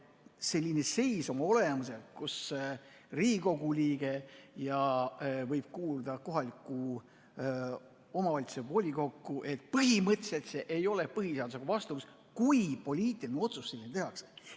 Selline seis oma olemuselt, kus Riigikogu liige võib kuuluda kohaliku omavalitsuse volikokku, ei ole põhimõtteliselt põhiseadusega vastuolus, kui poliitiline otsus tehakse.